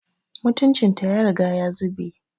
Mutuncin ta ya riga ya zube